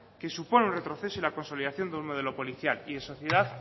que supone un retroceso y la consolidación de un modelo policial y de sociedad